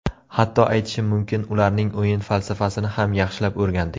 Hatto, aytishim mumkin ularning o‘yin falsafasini ham yaxshilab o‘rgandik.